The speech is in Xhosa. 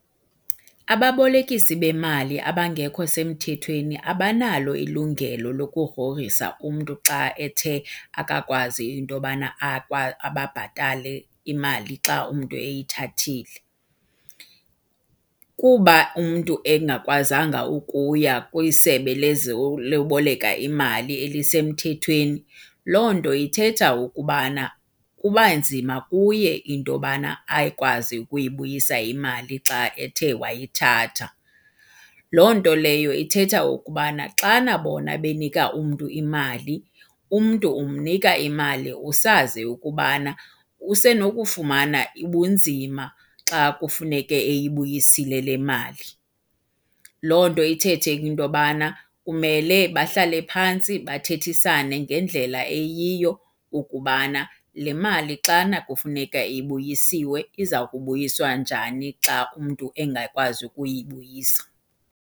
Ababolekisi bemali abangekho semthethweni abanalo ilungelo lokugrogrisa umntu xa ethe akakwazi into yobana ababhatale imali xa umntu eyithathile. Kuba umntu engakwazanga ukuya kwisebe loboleka imali elisemthethweni, loo nto ithetha ukubana kuba nzima kuye into yobana akwazi ukuyibuyisa imali xa ethe wayithatha. Loo nto leyo ithetha ukubana xana bona benika umntu imali umntu umnika imali usazi ukubana usenokufumana ubunzima xa kufuneke eyibuyisile le mali. Loo nto ithethe ke into yobana kumele bahlale phantsi bathethisane ngendlela eyiyo ukubana le mali xana kufuneka ibuyisiwe iza kubuyiswa njani xa umntu engakwazi ukuyibuyisa.